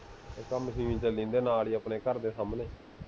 ਇੱਕ ਇਹ ਮਸ਼ੀਨ ਚਲੀ ਜਾਂਦੀ ਹੈ, ਨਾਲ ਹੀ ਆਪਣੇ ਘਰ ਦੇ ਸਾਹਮਣੇ